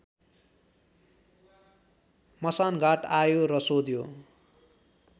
मसानघाट आयो र सोध्यो